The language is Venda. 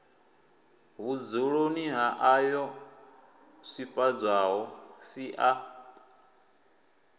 vhudzuloni ha ayoo swifhadzwaho sia